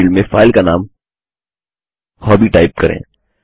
नामे field में file का नाम हॉबी टाइप करें